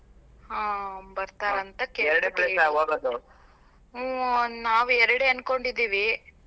ಹಾ ಬರ್ತಾರಂತ ಹು ನಾವ್ ಎರಡೇ ಅನ್ಕೊಂಡಿದ್ದೀವಿ.